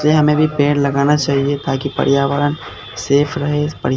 से हमें भी पेड़ लगाना चाहिए ताकि पर्यावरण सेफ रहे इस पर्या--